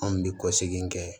Anw bɛ kɔsegin kɛ